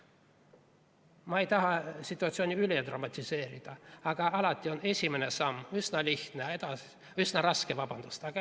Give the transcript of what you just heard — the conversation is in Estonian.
Ma ei taha situatsiooni üle dramatiseerida, aga alati on esimene samm üsna raske, aga edasi läheb nagu niuhti.